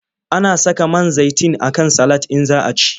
Ana saka man zaitin a kan salad in za a ci.